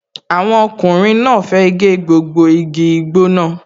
Àwọn ọkùnrin náà fẹ́ gé gbogbo igi igbó náà